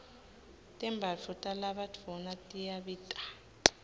tembatfo talabadvuna tiyabita